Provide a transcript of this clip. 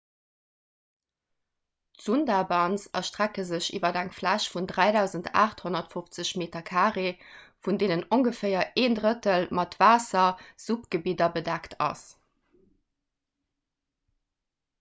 d'sundarbans erstrecke sech iwwer eng fläch vun 3 850 km² vun deenen ongeféier een drëttel mat waasser-/suppgebidder bedeckt ass